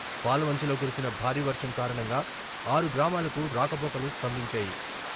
పాల్వంచలో కురిసిన భారీ వర్షం కారణంగా ఆరు గ్రామాలకు రాకపోకలు స్తంభించాయి.